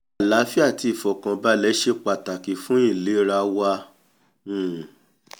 àláfíà àti ìfọ̀kànbalẹ̀ ṣe pàtàkìfún ìlera wa um